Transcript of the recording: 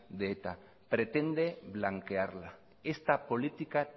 de eta pretende blanquearla esta política